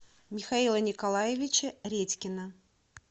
михаила николаевича редькина